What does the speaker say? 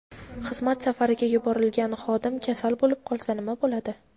Xizmat safariga yuborilgan xodim kasal bo‘lib qolsa nima bo‘ladi?.